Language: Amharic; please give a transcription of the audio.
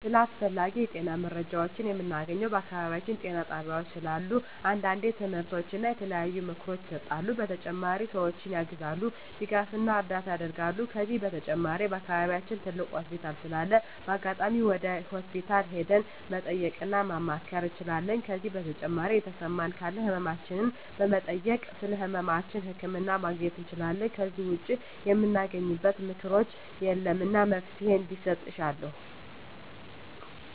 ስለ አስፈላጊ የጤና መረጃዎችን ምናገኘው በአካባቢያችን ጤና ጣቤያዎች ስላሉ አንዳንዴ ትምህርቶች እና የተለያዩ ምክሮች ይሰጣሉ በተጨማሪ ሰዎችን ያግዛሉ ድጋፍና እርዳታ ያረጋሉ ከዚህ በተጨማሪ በአከባቢያችን ትልቅ ሆስፒታል ስላለ በአጋጣሚ ወደ ሆስፒታል ሄደን መጠየቅ እና ማማከር እንችላለን ከዜ በተጨማሪ የተሰማን ካለ ህመማችን በመጠየክ ስለህመማችን ህክምና ማግኘት እንችላለን ከዜ ውጭ ምናገኝበት ምክኛት የለም እና መፍትሔ እንዲሰጥ እሻለሁ